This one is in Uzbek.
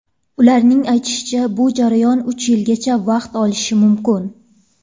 Ularning aytishicha, bu jarayon uch yilgacha vaqt olishi mumkin.